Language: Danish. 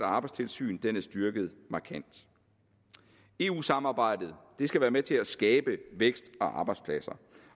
og arbejdstilsyn er blevet styrket markant eu samarbejdet skal være med til at skabe vækst og arbejdspladser